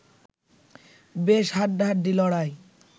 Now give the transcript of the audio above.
বেশ হাড্ডাহাড্ডি লড়াই